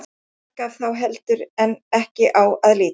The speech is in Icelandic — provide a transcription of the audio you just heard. Þar gaf þá heldur en ekki á að líta.